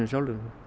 sjálfir